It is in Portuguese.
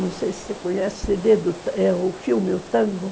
Não sei se você conhece o filme, o tango.